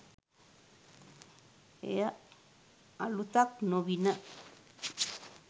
එය අලුතක්‌ නොවිණ.